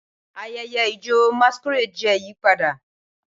Ayẹyẹ ijó masquerade jẹ́ ìyípadà.